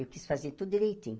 Eu quis fazer tudo direitinho.